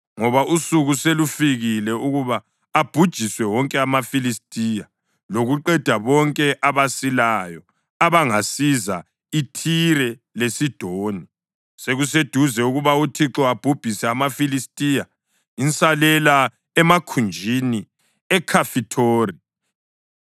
Ngoba usuku selufikile ukuba abhujiswe wonke amaFilistiya, lokuqeda bonke abasilayo abangasiza iThire leSidoni. Sekuseduze ukuba uThixo abhubhise amaFilistiya, insalela emakhunjini eKhafithori.